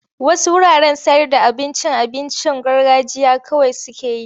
Wasu wuraren sayarda abincin abincin garganjiya kawai suke yi.